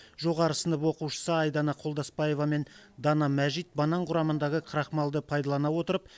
жоғары сынып оқушысы айдана қолдасбаева мен дана мәжит банан құрамындағы крахмалды пайдалана отырып